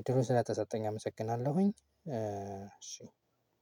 እድሉ ስለተሰጠኝ አመሰግናለሁኝ እሺ